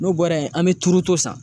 N'o bɔra yen, an be turuto san.